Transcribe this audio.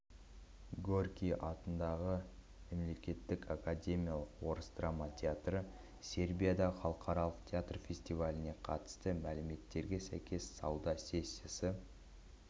горький атындағы мемлекеттік академиялық орыс драма театры сербияда халықаралық театр фестиваліне қатысты мәліметіне сәйкес сауда сессиясы